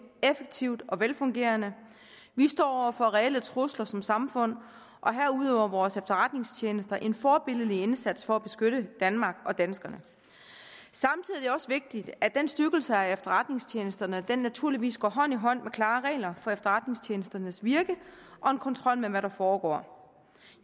effektivt og velfungerende vi står over for reelle trusler som samfund og her udøver vores efterretningstjenester en forbilledlig indsats for at beskytte danmark og danskerne samtidig er det også vigtigt at den styrkelse af efterretningstjenesterne naturligvis går hånd i hånd med klare regler for efterretningstjenesternes virke og en kontrol med hvad der foregår